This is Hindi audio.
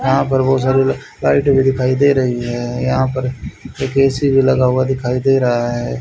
यहां पर बहुत सारी ला लाइटें भी दिखाई दे रही है यहां पर एक ए_सी भी लगा हुआ दिखाई दे रहा है।